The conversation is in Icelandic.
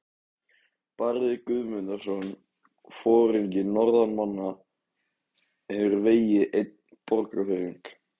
Barði Guðmundarson, foringi norðanmanna, hefur vegið einn Borgfirðing.